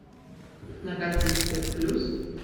на карте эксперт плюс